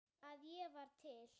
að ég var til.